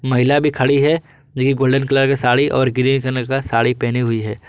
महिला भी खड़ी है जो कि गोल्डन कलर का साड़ी और ग्रे कलर का साड़ी पहनी हुई है।